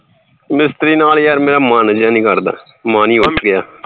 ਮਿਸਤਰੀ ਨਾਲ ਯਾਰ ਮੇਰਾ ਮਨ ਜਾ ਨੀ ਕਰਦਾ ਮਨ ਹੀ ਉੱਠ ਗਿਆ